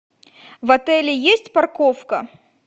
в отеле есть парковка